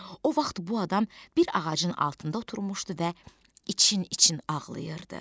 O vaxt bu adam bir ağacın altında oturmuşdu və için-için ağlayırdı.